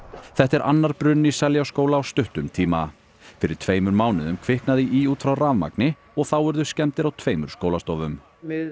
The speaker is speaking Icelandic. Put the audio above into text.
þetta er annar bruninn í Seljaskóla á stuttum tíma fyrir tveimur mánuðum kviknaði í út frá rafmagni og þá urðu skemmdir á tveimur skólastofum við